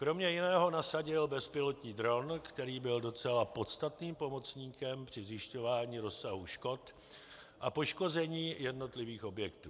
Kromě jiného nasadil bezpilotní dron, který byl docela podstatným pomocníkem při zjišťování rozsahu škod a poškození jednotlivých objektů.